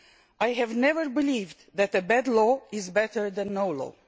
I have never believed that a bad law is better than no law.